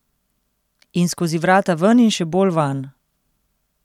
In skozi vrata ven in še bolj vanj.